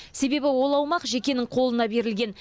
себебі ол аумақ жекенің қолына берілген